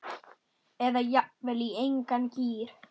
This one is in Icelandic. Eða jafnvel í engan gír.